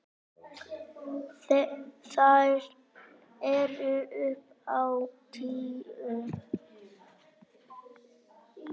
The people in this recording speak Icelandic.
Þær eru upp á tíu.